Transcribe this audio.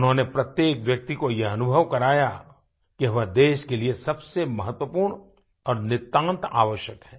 उन्होंने प्रत्येक व्यक्ति को ये अनुभव कराया कि वह देश के लिए सबसे महत्वपूर्ण और नितांत आवश्यक है